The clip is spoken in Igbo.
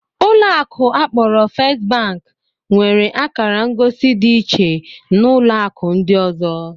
Ụlọ akụ akporo First bank nwere akara ngosi dị iche na ụlọ akụ ndị ọzọ